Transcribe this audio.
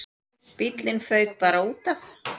Bíllinn fauk bara útaf.